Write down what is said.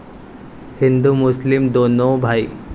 हिंदु मुस्लीम दोनों भाई